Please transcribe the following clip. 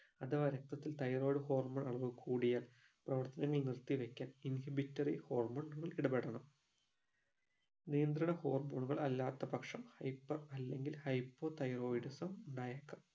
അഥവാ രക്തത്തിൽ thyroid hormone അളവ് കൂടിയാൽ പ്രവർത്തനങ്ങൾ നിർത്തിവെക്കാൻ inhibitory hormone ഇടപെടണം നിയന്ത്രണ hormone ഉകൾ അല്ലാത്ത പക്ഷം hyper അല്ലെങ്കിൽ hypothyroidism ഉണ്ടായേക്കാം